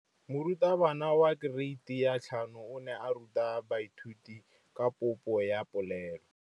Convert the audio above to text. Moratabana wa kereiti ya 5 o ne a ruta baithuti ka popô ya polelô.